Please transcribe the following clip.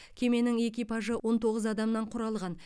кеменің экипажы он тоғыз адамнан құралған